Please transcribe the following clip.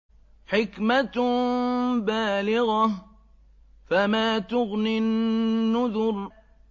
حِكْمَةٌ بَالِغَةٌ ۖ فَمَا تُغْنِ النُّذُرُ